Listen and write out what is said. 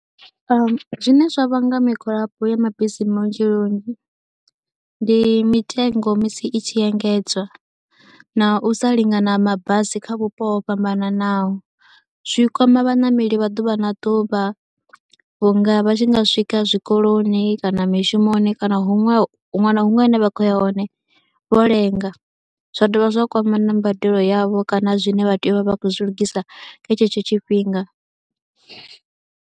Zwine zwa vhanga migwalabo ya mabisi maongeloni ndi mitengo musi i tshi engedzwa na u sa lingana ha mabasi kha vhupo ho fhambananaho, zwi kwama vhaṋameli vha ḓuvha na ḓuvha vhunga vha tshi nga swika zwikoloni kana mishumoni kana huṅwe na huṅwe hune vha khou ya hone vho lenga. Zwa dovha zwa kwama na mbadelo yavho kana zwine vha tea u vha vha khou zwi lugisa kha tshetsho tshifhinga.